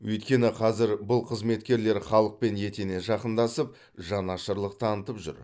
өйткені қазір бұл қызметкерлер халықпен етене жақындасып жанашырлық танытып жүр